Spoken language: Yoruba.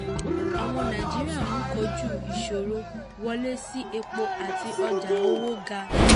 àwọn nàíjíríà ń kojú ìṣòro wọlé sí epo àti ọjà owó ga.